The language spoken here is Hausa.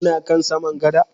Kuna kan saman gada?